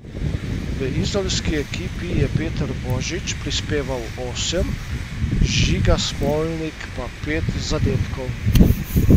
V izolski ekipi je Peter Božič prispeval osem, Žiga Smolnik pa pet zadetkov.